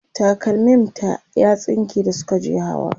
takalmim ta ya tsinke da Suka je hawa